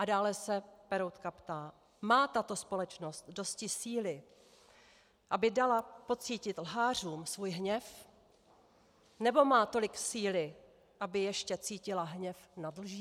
A dále se Peroutka ptá: "Má tato společnost dosti síly, aby dala pocítit lhářům svůj hněv, nebo má tolik síly, aby ještě cítila hněv nad lží?"